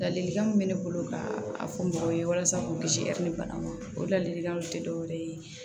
Ladilikan min bɛ ne bolo ka fɔ mɔgɔw ye walasa k'u kisi bana ma o de lalikanw tɛ dɔwɛrɛ ye